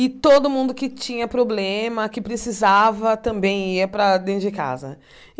E todo mundo que tinha problema, que precisava, também ia para dentro de casa.